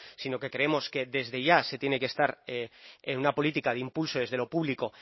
sino que creemos que desde ya se tiene que estar en una política de impulso desde lo público